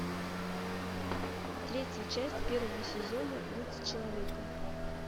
третья часть первого сезона быть человеком